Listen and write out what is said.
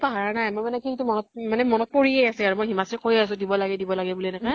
পাহৰা নাই । মই মানে কিন্তু মনত মানে মনত পৰি য়ে আছে আৰু । মই হিমাক্ষী ক কৈয়ে আছো দিব লাগে দিব লাগে বুলি এনেকে